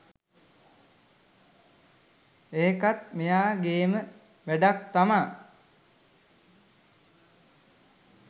ඒකත් මෙයා ගෙම වැඩක් තමා